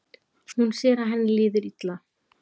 Hún sér að henni líður illa.